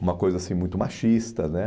Uma coisa assim muito machista, né?